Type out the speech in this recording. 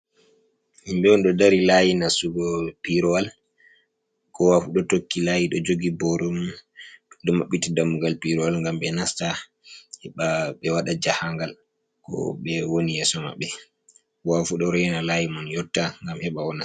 Himbe on do dari layi nasugo pirowal, kowafu do tokki layi do jogi boromum do mabbita dammugal pirowal gam be nasta be wada jahangal ko be woni yeso mabbe ko wafu do rena layi man yotta gam heba wona.